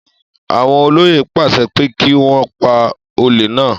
Àwọn olóyè pàṣẹ pé kí wọ́n pa olè náà.